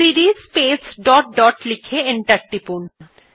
CD space dot dot লিখে enter টিপলাম